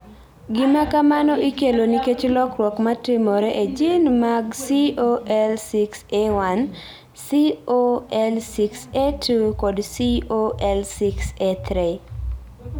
Gima kamano ikelo nikech lokruok ma timore e jin mag COL6A1, COL6A2, kod COL6A3.